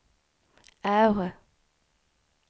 R